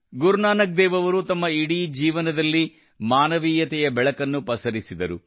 ಗುರು ನಾನಕ್ ದೇವ್ ಅವರು ತಮ್ಮ ಇಡೀ ಜೀವನದಲ್ಲಿ ಮಾನವೀಯತೆಯ ಬೆಳಕನ್ನು ಪಸರಿಸಿದರು